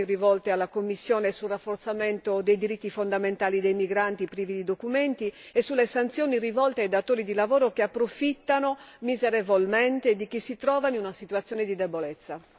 Sostengo con convinzione quindi le raccomandazioni rivolte alla Commissione sul rafforzamento dei diritti fondamentali dei migranti privi di documenti e sulle sanzioni rivolte ai datori di lavoro che approfittano miserevolmente di chi si trova in una situazione di debolezza.